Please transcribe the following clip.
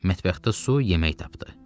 Mətbəxdə su, yemək tapdı.